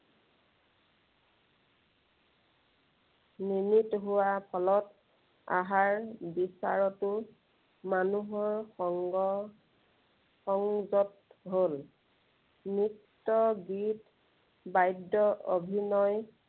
নিমিত হোৱাৰ ফলত, আহাৰ বিচাৰতো মানুহৰ সংগ সংযত হল। নৃত্য় গীত, বাদ্য় অভিনয়